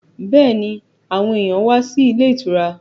Bẹ́ẹ̀ni, àwọn èyàn wá sí ilé ìtura.